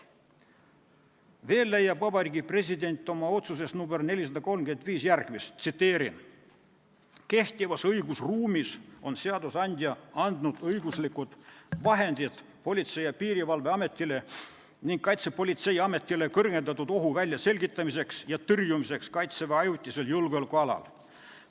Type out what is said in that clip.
Veel leiab Vabariigi President oma otsuses nr 435 järgmist: "Kehtivas õigusruumis on seadusandja andnud õiguslikud vahendid Politsei- ja Piirivalveametile ning Kaitsepolitseiametile kõrgendatud ohu väljaselgitamiseks ja tõrjumiseks Kaitseväe ajutisel julgeolekualal.